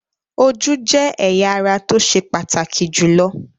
Ojú jẹ́ ẹ̀yà ara tó ṣe pàtàkì jùlọ.